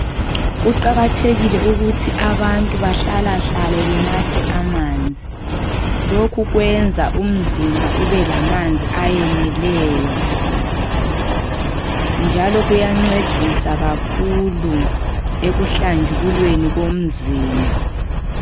Kuqakathekile ukuthi abantu bahlalahlale benathe amanzi. Lokhu kwrnza umzimba ube lamabzi ayeneleyo. Njalo kuyancedisa kakhulu ekuhlajululweni komzimba.